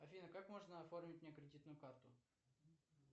афина как можно оформить мне кредитную карту